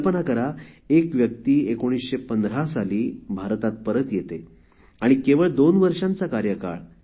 कल्पना करा एक व्यक्ती १९१५ साली भारतात परत येते आणि केवळ दोन वर्षांचा कार्यकाळ